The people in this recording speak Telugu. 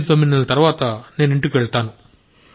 89 నెలల తరువాత నేను ఇంటికి వెళ్తాను